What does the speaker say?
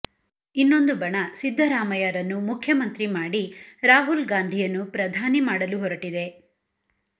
ಇನ್ನೊಂದು ಬಣ ಸಿದ್ದರಾಮಯ್ಯರನ್ನು ಮುಖ್ಯಮಂತ್ರಿ ಮಾಡಿ ರಾಹುಲ್ ಗಾಂಧಿಯನ್ನು ಪ್ರಧಾನಿ ಮಾಡಲು ಹೊರಟಿದೆ